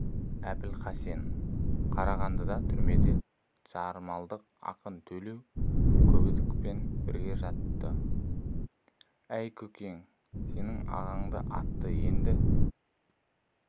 әбілхасен қарағандыдағы түрмеде жармалық ақын төлеу көбдіковпен бірге жатыпты әй көкен сенің ағаңды атты енді